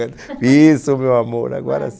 isso meu amor, agora sim